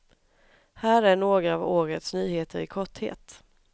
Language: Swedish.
Här är några av årets nyheter i korthet.